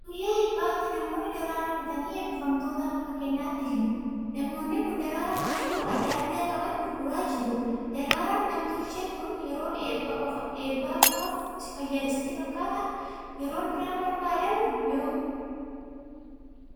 Guyyaa eebbaatti namoonni daraaraa bitanii eebbifamtootaaf akka kennaatti kennu. Namoonni kun daraaraa halluu adda addaa qaban gurguraa jiru. Daraaraan anm tolchee kun yeroo eebbaa qofaaf fayyada sitti fakkaataa? Yeroo biraan barbaadamu yoomi?